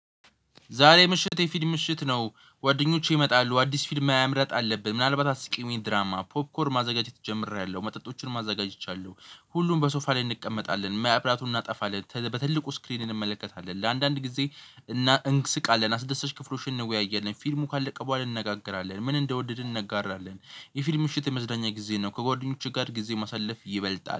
ዛሬ ምሽት የፊልም ምሽት ነው ጓደኞቼ ይመጣሉ አዲስ ፊልም መምረጥ አለብን ምናልባት አስቂሚ ድራማ ፖፕኮር ማዘጋጀት ጀምሬያለሁ መጠጦችን ማዘጋጀት ይቻላል። ሁሉም በሶፋ ላይ እንቀመጣለን መብራቱን እናጠፋለን በትልቁ ስክሪን እንመለከታለን። ለአንዳንድ ጊዜ እና እንስቃለን አስደሰች ክፍሎችን እንወያያለን ፊልሙ ካልደቀበው አልነጋገራለን ምን እንደወደድን እንነጋራለን። የፊልም ምሽት የመዝናኛ ጊዜ ነው ከጓደኞችህ ጋር ጊዜ ማሳለፍ ይበልጣል